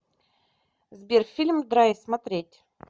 сбер фильм драйв смотреть